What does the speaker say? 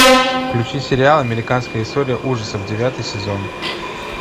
включи сериал американская история ужасов девятый сезон